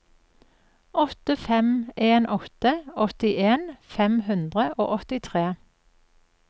åtte fem en åtte åttien fem hundre og åttitre